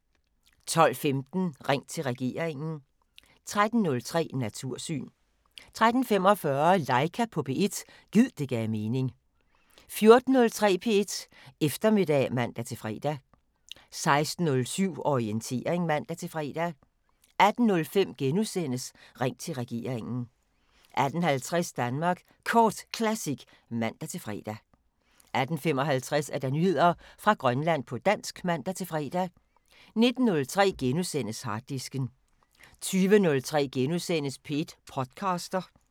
12:15: Ring til regeringen 13:03: Natursyn 13:45: Laika på P1 – gid det gav mening 14:03: P1 Eftermiddag (man-fre) 16:07: Orientering (man-fre) 18:05: Ring til regeringen * 18:50: Danmark Kort Classic (man-fre) 18:55: Nyheder fra Grønland på dansk (man-fre) 19:03: Harddisken * 20:03: P1 podcaster *